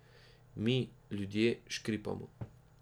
Mi, Ljudje, škripamo.